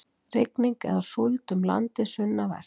Rigning eða súld um landið sunnanvert